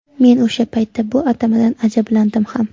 Men o‘sha paytda bu atamadan ajablandim ham.